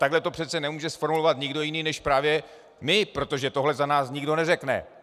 Takhle to přece nemůže zformulovat nikdo jiný než právě my, protože tohle za nás nikdo neřekne.